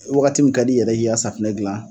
Wagati min ka di i yɛrɛ i k'i ka safinɛ gilan